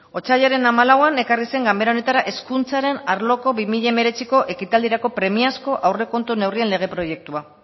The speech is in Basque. otsailaren hamalauan ekarri zen ganbera honetara hezkuntzaren arloko bi mila hemeretziko ekitaldirako premiazko aurrekontuen neurrien lege proiektua